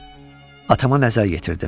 Atama nəzər yetirdim.